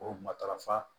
O matarafa